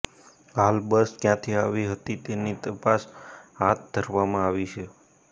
હાલ બસ ક્યાંથી આવી હતી તેની તપાસ હાથ ધરવામાં આવી છે